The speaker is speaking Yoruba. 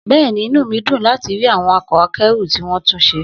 Bẹ́ẹ̀ni, inú mi dùn láti rí àwọn ọkọ̀ akẹ́rù tí wọ́n tún ṣe